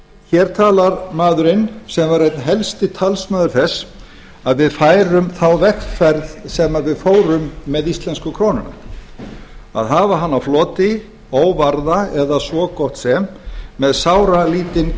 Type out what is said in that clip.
hér talar maðurinn sem var einn helsti talsmaður þess að við færum þá vegferð sem við fórum með íslensku krónuna að hafa hana á floti óvarða eða svo gott sem með sáralítinn